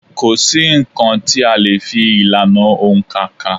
Kò sí nǹkan tí a lè fi ìlànà òǹkà kà.